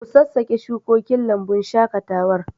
Ku sassabe shukokin lambun shaƙatawar.